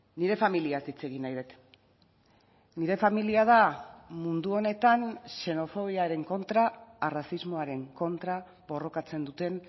nire familiaz hitz egin nahi dut nire familia da mundu honetan xenofobiaren kontra arrazismoaren kontra borrokatzen duten